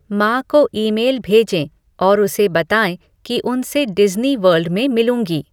माँ को ईमेल भेजें और उसे बताएँ कि उन से डिज़्नी वर्ल्ड में मिलूँगी